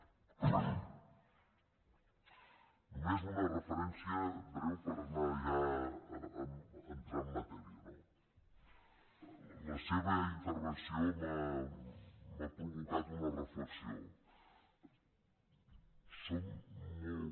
només una referència breu per anar ja entrant en matèria no la seva intervenció m’ha provocat una reflexió som molt